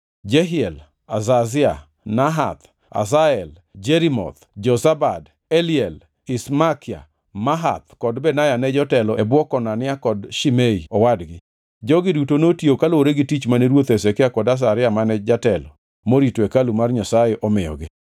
Jehiel, Azazia, Nahath, Asahel, Jerimoth, Jozabad, Eliel, Ismakia, Mahath kod Benaya ne jotelo e bwo Konania kod Shimei owadgi. Jogi duto notiyo kaluwore gi tich mane ruoth Hezekia kod Azaria mane jatelo morito hekalu mar Nyasaye omiyogi.